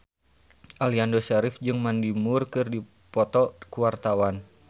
Aliando Syarif jeung Mandy Moore keur dipoto ku wartawan